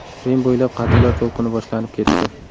Rim bo‘ylab qatllar to‘lqini boshlanib ketdi.